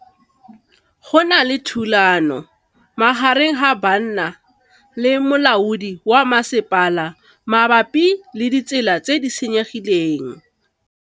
Go na le thulanô magareng ga banna le molaodi wa masepala mabapi le ditsela tse di senyegileng.